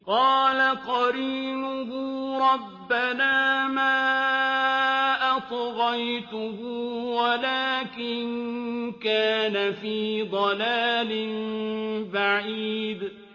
۞ قَالَ قَرِينُهُ رَبَّنَا مَا أَطْغَيْتُهُ وَلَٰكِن كَانَ فِي ضَلَالٍ بَعِيدٍ